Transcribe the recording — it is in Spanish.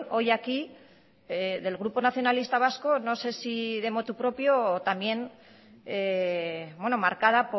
hoy aquí del grupo nacionalista vasco no sé si de motu propio o también marcada